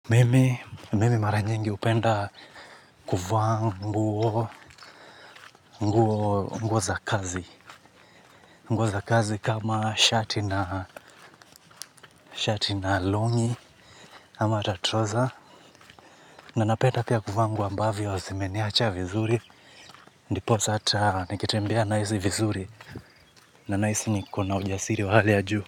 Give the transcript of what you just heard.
Mimi mara nyingi hupenda kuvaa nguo za kazi nguo za kazi kama shati na shati na long'i ama hata trouser. Na ninapenda pia kuvaa nguo ambazo zimeniacha vizuri. Ndiposa hata nikitembea nahisi vizuri. Na ninahisi niko na ujasiri wa hali ya juu.